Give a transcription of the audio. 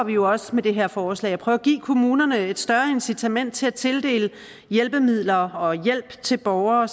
vi også med det her forslag at prøve at give kommunerne et større incitament til at tildele hjælpemidler og hjælp til borgere